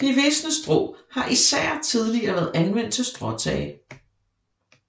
De visne strå har især tidligere været anvendt til stråtage